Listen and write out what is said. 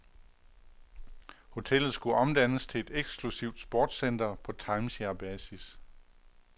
Hotellet skulle omdannes til et eksklusivt sportscenter på timesharebasis.